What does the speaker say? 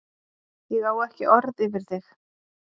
Ég á ekki orð yfir þig.